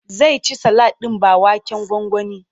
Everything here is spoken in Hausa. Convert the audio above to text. Zai ci salak ɗin ba waken gwangwani.